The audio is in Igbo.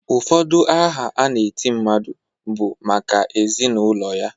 Ụfọdụ aha a na-eti mmadụ na-abụ maka ezi na ụlọ ya.